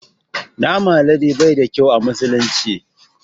Naman alade bai da ƙyau a musulunci.